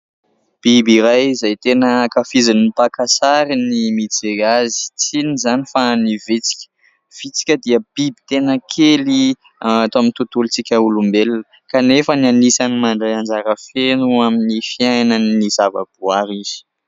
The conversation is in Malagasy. Biby iray izay tena ankafizin'ny mpaka sary ny mijery azy tsy inona izany fa ny vitsika. Vitsika dia biby tena kely ato amin'ny tontolon-tsika olombelona kanefa anisan'ny mandray anjara feno amin'ny fiainan'ny zavaboary izy.